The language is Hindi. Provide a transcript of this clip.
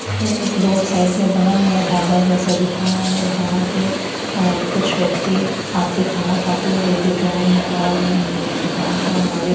यह एक रोड साइड में बना हुआ ढाबा जैसा दिख रहा है जहाँ पे अ कुछ व्यक्ति आते खाना खाते हुवे दिख रहे है और म-म दुकान का मालिक --